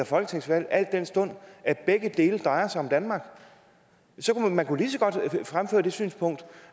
folketingsvalg al den stund begge dele drejer sig om danmark man kunne lige så godt fremføre det synspunkt